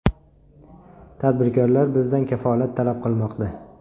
Tadbirkorlar bizdan kafolat talab qilmoqda.